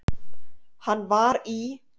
Hann var í